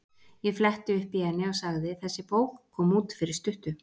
Ég fletti upp í henni og sagði: Þessi bók kom út fyrir stuttu.